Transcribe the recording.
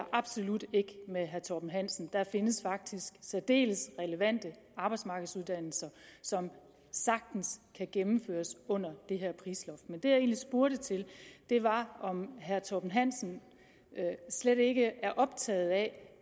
absolut ikke med herre torben hansen der findes faktisk særdeles relevante arbejdsmarkedsuddannelser som sagtens kan gennemføres under det her prisloft men det jeg egentlig spurgte til var om herre torben hansen slet ikke er optaget af